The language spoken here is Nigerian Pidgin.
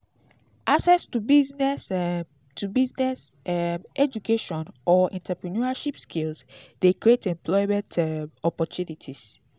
access to business um to business um education or entreprenuership skills de create employment um opportunities